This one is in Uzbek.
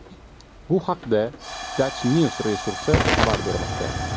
Bu haqda DutchNews resursi xabar bermoqda .